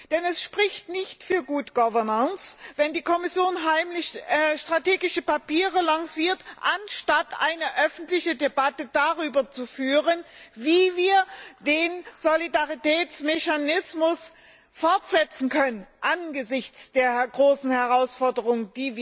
Denn es spricht nicht für wenn die Kommission heimlich strategische Papiere lanciert, anstatt eine öffentliche Debatte darüber zu führen, wie wir den Solidaritätsmechanismus fortsetzen können, angesichts der großen Herausforderungen,